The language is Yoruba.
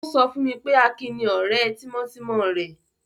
O sọ fún mi pé Akin ni ọ̀rẹ́ tímọ́tímọ́ rẹ̀.